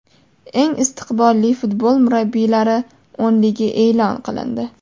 Eng istiqbolli futbol murabbiylari o‘nligi e’lon qilindi.